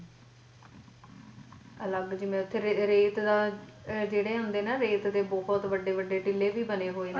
ਅਲੱਗ ਜਿਵੇ ਓਥੇ ਰੇ ਰੇਤ ਦਾ ਓਥੇ ਜਿਹੜੇ ਹੁੰਦੇ ਨਾ ਰੇਤ ਦੇ ਬਹੁਤ ਵੱਡੇ ਵੱਡੇ ਟਹਿਲ ਵੀ ਬਣੇ ਹੋਏ ਨੇ